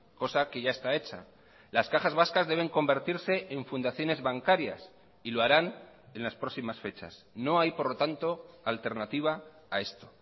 cosa que ya está hecha las cajas vascas deben convertirse en fundaciones bancarias y lo harán en las próximas fechas no hay por lo tanto alternativa a esto